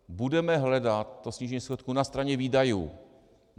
Budeme hledat to snížení schodku na straně výdajů.